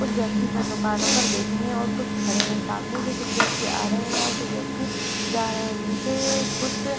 कुछ व्यक्ति सन दुकानों पर बैठे हैं और कुछ खड़े हैं। सामने से कुछ व्यक्ति आ रहे हैं और कुछ व्यक्ति जा रहे हैं। नीचे कुछ --